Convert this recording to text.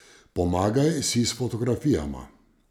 Pomagaj si s fotografijama.